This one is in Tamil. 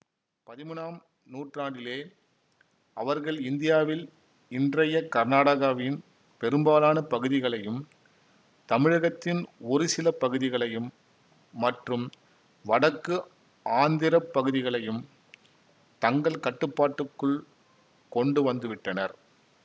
பதிமூனாம் நூற்றாண்டிலே அவர்கள் இந்தியாவில் இன்றைய கர்நாடகவாவின் பெரும்பாலானப் பகுதிகளையும் தமிழகத்தின் ஒருசிலப் பகுதிகளையும் மற்றும் வடக்கு ஆந்திரப்பகுதிகளையும் தங்கள் கட்டுப்பாட்டுக்குள் கொண்டுவந்துவிட்டனர்